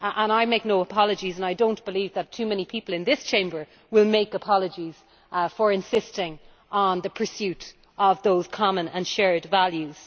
I make no apologies, and I do not believe that too many people in this Chamber will make apologies for insisting on the pursuit of those common and shared values.